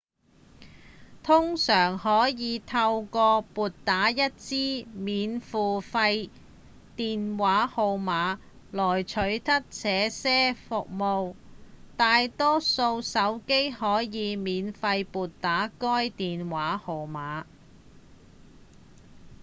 通常可以透過撥打一支免付費電話號碼來取得這些服務大多數手機可以免費撥打該電話號碼